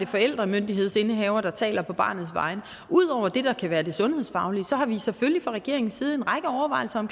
forældremyndighedsindehaveren der taler på barnets vegne ud over det der kan være det sundhedsfaglige har vi selvfølgelig fra regeringens side en række overvejelser